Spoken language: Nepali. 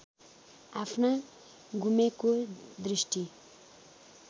आफ्ना गुमेको दृष्टि